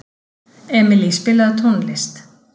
Emilý, spilaðu tónlist.